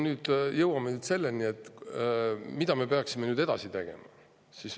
Nüüd me jõuame selleni, mida me peaksime edasi tegema.